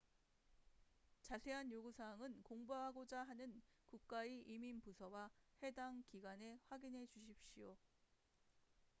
자세한 요구 사항은 공부하고자 하는 국가의 이민 부서와 해당 기관에 확인해 주십시오